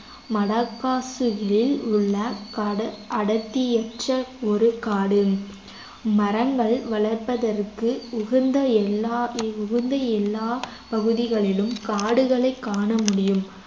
மடகாசுவில் உள்ள கட~ அடர்த்தியற்ற ஒரு காடு மரங்கள் வளர்வதற்கு உகந்த எல்லா உகந்த எல்லாப் பகுதிகளிலும் காடுகளைக் காண முடியும்